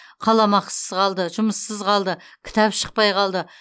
қаламақысыз қалды жұмыссыз қалды кітап шықпай қалды